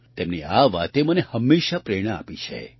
તેમની આ વાતે મને હંમેશાં પ્રેરણા આપી છે